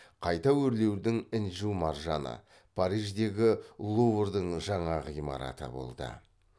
қайта өрлеудің інжу маржаны париждегі луврдың жаңа ғимараты болды